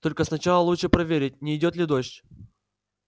только сначала лучше проверить не идёт ли дождь